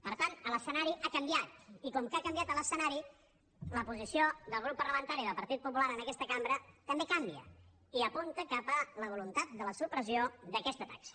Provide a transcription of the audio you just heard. per tant l’escenari ha canviat i com que ha canviat l’escenari la posició del grup parlamentari del partit popular en aquesta cambra també canvia i apunta cap a la voluntat de la supressió d’aquesta taxa